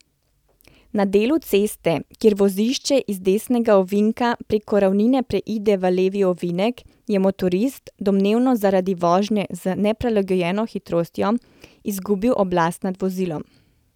Na delu ceste, kjer vozišče iz desnega ovinka preko ravnine preide v levi ovinek, je motorist, domnevno zaradi vožnje z neprilagojeno hitrostjo, izgubil oblast nad vozilom.